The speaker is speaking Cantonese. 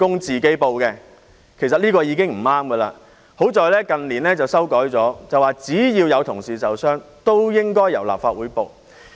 這樣做其實已經不對，幸好近年修改了做法，萬一有同事受傷，均由立法會作出申報。